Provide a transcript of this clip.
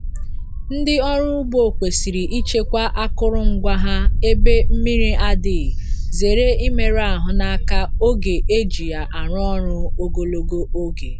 Ndị ọrụ ugbo kwesịrị ichekwa akụrụngwa ha ebe mmri adịghị zere imeru ahụ n’aka oge e ji ya arụ ọrụ ogologo oge.